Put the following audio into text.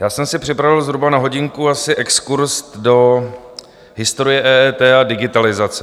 Já jsem si připravil zhruba na hodinku asi exkurz do historie EET a digitalizace.